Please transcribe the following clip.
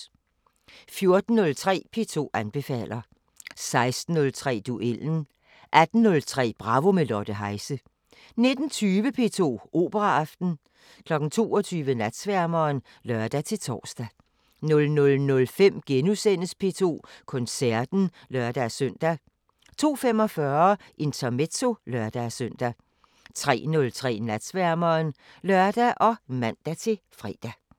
14:03: P2 anbefaler 16:03: Duellen 18:03: Bravo – med Lotte Heise 19:20: P2 Operaaften 22:00: Natsværmeren (lør-tor) 00:05: P2 Koncerten *(lør-søn) 02:45: Intermezzo (lør-søn) 03:03: Natsværmeren (lør og man-fre)